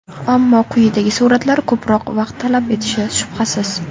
Ammo quyidagi suratlar ko‘proq vaqt talab etishi shubhasiz.